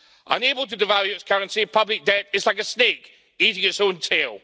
Unable to devalue its currency, public debt is like a snake eating its own tail.